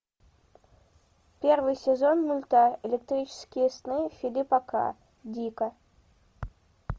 первый сезон мульта электрические сны филипа к дика